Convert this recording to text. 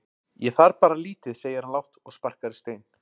Ég þarf bara lítið segir hann lágt og sparkar í stein.